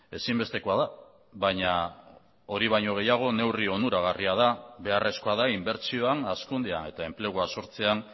ezinbestekoa da baina hori baino gehiago neurri onuragarria da beharrezkoa da inbertsioan hazkundea eta enplegua sortzean